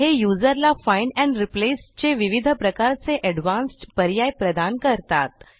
हे युजरला find and replace चे विविध प्रकारचे एडवान्स्ड पर्याय प्रदान करतात